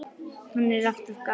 En hann er alltaf gamall.